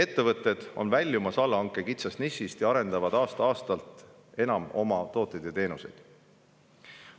Ettevõtted on väljumas allhanke kitsast nišist ja arendavad aasta-aastalt enam oma tooteid ja teenuseid.